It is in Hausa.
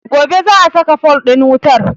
Gobe za a saka fol ɗin wutar